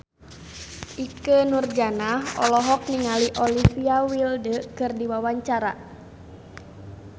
Ikke Nurjanah olohok ningali Olivia Wilde keur diwawancara